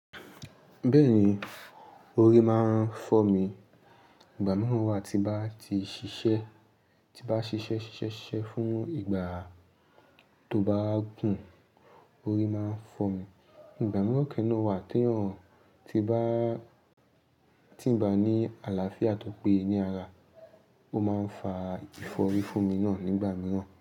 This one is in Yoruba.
Bẹ́ẹ̀ni, orí máa ń fọ́mi. Ìgbà mìíràn wá ti n bá ti ṣiṣẹ́, ti n bá ṣiṣẹ́ ṣiṣẹ́ sise fún ìgbà tó bá gùn, orí máa ń fọ́ mi. Ìgbà mìíràn kẹ́ naa wá tí ń bá, tí ń bá ní àlàáfíà tòpé ní ara. Ó máa ń fa ìfọ́rí fún mi náà nígbà mìíràn.